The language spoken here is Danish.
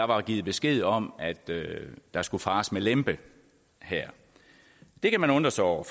var givet besked om at der skulle fares med lempe her det kan man undre sig over